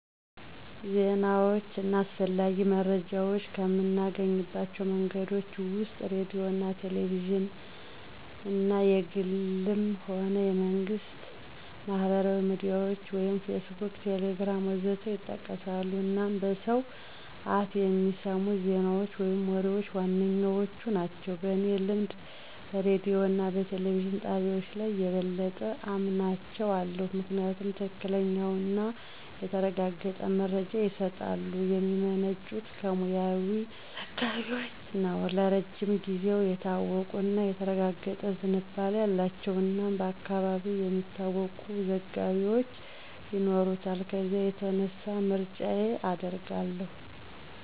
ዜናዎች እና አስፈላጊ መረጃዎች ከምናገኝባቸው መንገዶች ወስጥ ሬዲዮ አና ቴሌቪዥንና(የግልም ሆነ የመንግስት)፣ማህበራዊ ሚዲያዎች (ፌስቡክ፣ ቴሌግራም.... ወዘት) ይጠቀሳሉ አናም በሰው አፍ በሚሰሙት ዜናዎች ወይም ወሬዎች ዋነኛዎቹ ናቸው። በኔ ልምድ በሬዲዮ እና በቴሌቪዥን ጣቢያዎች ላይ የበለጠ አምናቸው አለው። ምክንያቱም ትክክለኛና የተረጋገጠ መረጃ ይስጣሉ፣ የሚመነጩት ከሙያዊ ዘጋቢዎች ነው፣ ለረጅም ጊዜው የታወቁ እና የተረጋገጠ ዝንባሌ አላቸው እናም በአካባቢው የሚታወቁ ዘጋቢዎች ይኖሩታል ከዚያ የተነሳ ምርጫየ አድርጋው አለሁ።